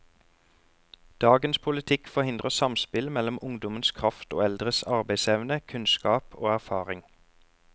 Dagens politikk forhindrer samspill mellom ungdommens kraft og eldres arbeidsevne, kunnskap og erfaring.